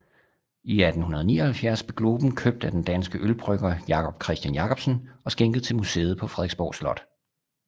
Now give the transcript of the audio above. I 1879 blev globen købt af den danske ølbrygger Jacob Christian Jacobsen og skænket til museet på Frederiksborg Slot